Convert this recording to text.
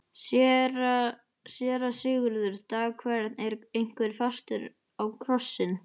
SÉRA SIGURÐUR: Dag hvern er einhver festur á krossinn.